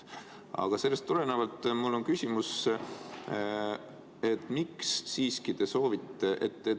Aga sellest tulenevalt on mul küsimus.